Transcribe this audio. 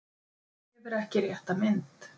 Gefur ekki rétta mynd